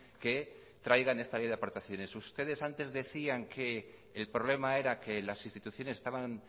que traigan esta ley de aportaciones ustedes antes decían que el problema era que las instituciones estaban